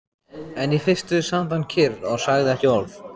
En í fyrstu sat hann kyrr og sagði ekki orð.